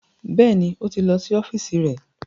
Bẹ́ẹ̀ni, ó ti lọ sí ọ́fíìsì rẹ̀